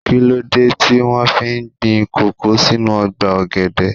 Kíló dé tí wón fi gbin kòkó sínú ọgbà ọ̀gẹ̀dẹ̀?